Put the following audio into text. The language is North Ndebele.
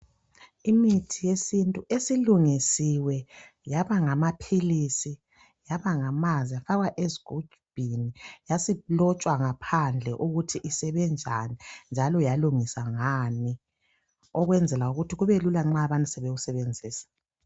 Imithi yesintu esilungisiwe yaba ngamaphilisi yaba ngamanzi yafakwa ezigubhini yasilotshwa ngaphandle ukuthi isebenzani njalo yalungiswa ngani ukwenzela ukuthi kube lula nxa abantu sebeyisebenzisa.